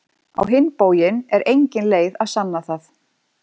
Á hinn bóginn er engin leið að sanna það.